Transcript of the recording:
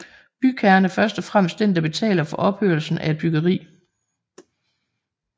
Bygherren er først og fremmest den der betaler for opførelsen af et byggeri